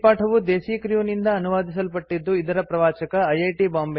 ಈ ಪಾಠವು ದೇಸೀ ಕ್ರ್ಯೂ ನಿಂದ ಅನುವಾದಿಸಲ್ಪಟ್ಟಿದ್ದು ಇದರ ಪ್ರವಾಚಕ ಐಐಟಿ